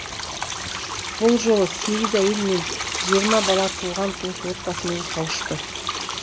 бұл жолы сегіз әйел мен жиырма бала туған туыс отбасымен қауышты